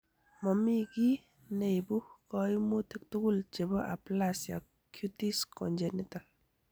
Momi kiy neibu koimutik tugul chebo aplasia cutis congenita.